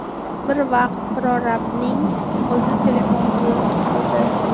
Bir vaqt prorabning o‘zi telefon qilib qoldi.